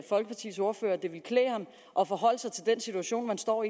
folkepartis ordfører at forholde sig til den situation man står